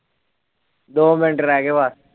ਦੋ ਮਿੰਟ ਰਹਿ ਗਏ ਬਸ